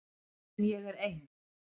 En ég er ein.